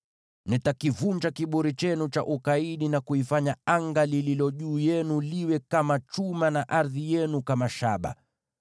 Nitakivunja kiburi chenu cha ukaidi na kuifanya anga iliyo juu yenu iwe kama chuma, na ardhi yenu kama shaba.